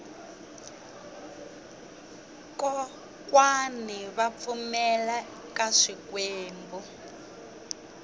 kokwani va pfumela ka swikwembu